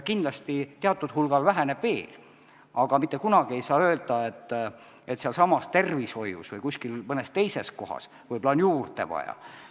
Kindlasti see teatud hulgal väheneb veel, aga sealsamas tervishoius või kuskil mõnes teises kohas on võib-olla juurde vaja.